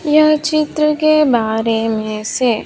यह चित्र के बारे में से--